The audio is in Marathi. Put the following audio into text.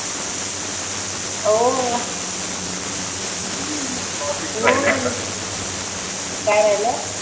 ओह काय राहील?